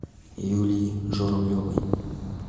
юлии журавлевой